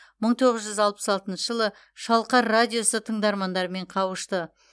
мың тоғыз жүз алпыс алтыншы жылы шалқар радиосы тыңдармандарымен қауышты